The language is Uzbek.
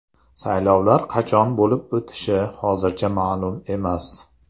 Saylovlar qachon bo‘lib o‘tishi hozircha ma’lum emas.